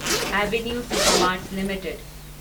avenue Supermarts limited